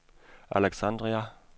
Alexandria